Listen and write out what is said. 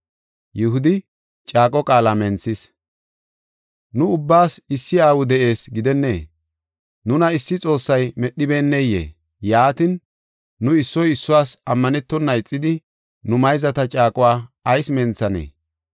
Nu ubbaas issi aawi de7ees gidennee? Nuna issi Xoossay medhibeneyee? Yaatin, nu issoy issuwas ammanetona ixidi, nu mayzata caaquwa ayis menthanee?